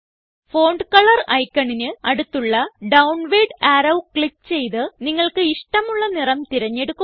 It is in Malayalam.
ഫോണ്ട് കളർ ഐക്കണിന് അടുത്തുള്ള ഡൌൺവാർഡ് അറോ ക്ലിക്ക് ചെയ്ത് നിങ്ങൾക്ക് ഇഷ്ടമുള്ള നിറം തിരഞ്ഞെടുക്കുക